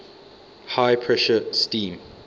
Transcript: high pressure steam